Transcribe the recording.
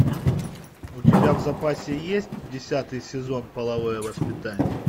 у тебя в запасе есть десятый сезон половое воспитание